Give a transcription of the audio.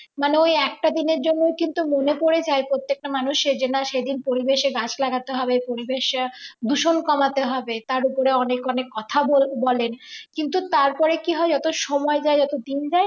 মানে একটা দিনের জন্য কিন্তু মনে পড়ে যায় প্রত্যেকটা মানুষের যে না সেদিন পরিবেশে গাছ লাগাতে হবে। পরিবেশ দূষণ কমাতে হবে। তার ওপরে অনেক অনেক কথা বল বলেন কিন্তু তারপরে কি হয় যত সময় যাই যত দিন যায়